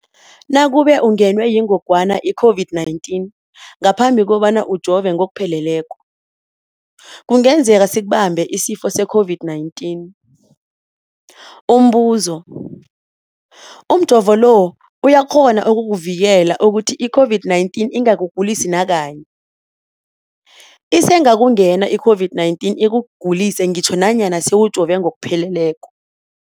Nakube ungenwe yingogwana i-COVID-19 ngaphambi kobana ujove ngokupheleleko, kungenzeka sikubambe isifo se-COVID-19. Umbuzo, umjovo lo uyakghona ukukuvikela ukuthi i-COVID-19 ingakugulisi nakanye? Isengakungena i-COVID-19 ikugulise ngitjho nanyana sewujove ngokupheleleko.